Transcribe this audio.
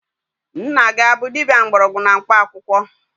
Nna gị abụ dibia mgbọrọgwụ na mkpaakwụkwọ?